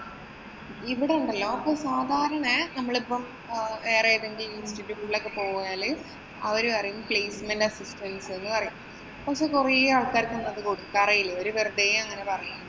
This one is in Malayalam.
ഇവിടുണ്ടല്ലോ ഇപ്പൊ സാധാരണ നമ്മളിപ്പം വേറെ എതെങ്കിലുമൊക്കെ institute കളിലൊക്കെ പോയാല് അവര് പറയും placement assistance എന്ന് പറയും. പക്ഷെ കൊറേ ആള്‍ക്കാര്‍ക്കും അത് കൊടുക്കാറെയില്ല. അവര് വെറുതെ അങ്ങനെ പറയും.